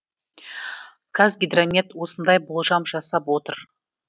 қазгидромет осындай болжам жасап отыр